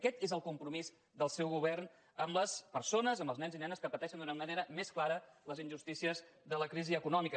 aquest és el compromís del seu govern amb les persones amb els nens i nenes que pateixen d’una manera més clara les injustícies de la crisi econòmica